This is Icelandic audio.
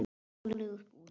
Stolið úr búðum.